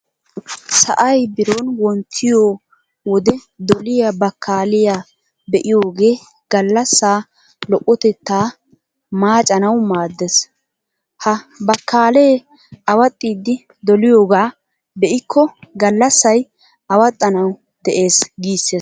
Sa'ay biron wonttiyo wode doliya bakkaaliya be'iyogee gallassaa lo"otettaa maacanawu maaddees. Ha bakkaalee awaxxidi doliyogaa be'ikko gallassay awaxxanawu de'ees giissees.